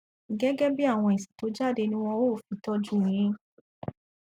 gẹgẹ bí àwọn èsì tó jáde ni wọn ó fi tọjú u yín